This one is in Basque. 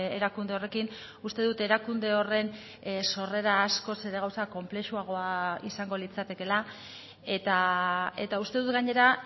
erakunde horrekin uste dut erakunde horren sorrera askoz ere gauza konplexuagoa izango litzatekeela eta uste dut gainera